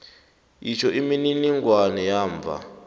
itjho imininingwana yamva